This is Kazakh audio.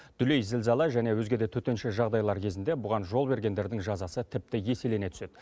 дүлей зілзала және өзге де төтенше жағдайлар кезінде бұған жол бергендердің жазасы тіпті еселене түседі